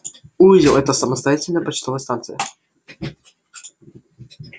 узел это самостоятельная почтовая станция